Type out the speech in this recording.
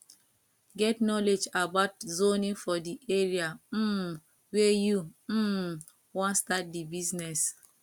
get knowledge about zoning for di area um wey you um wan start di business